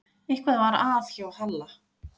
Eitthvað var að hjá Halla.